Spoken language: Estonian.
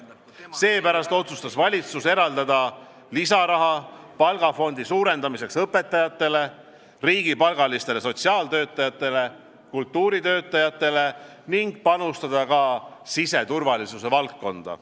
Seepärast otsustas valitsus eraldada lisaraha palgafondi suurendamiseks õpetajatele, riigipalgalistele sotsiaaltöötajatele, kultuuritöötajatele ning panustada ka siseturvalisuse valdkonda.